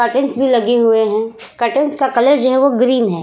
Curtains भी लगे हुए हैं। कर्टंस का कलर जो है वो ग्रीन है।